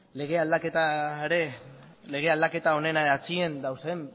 lege aldaketa honen atzean dauden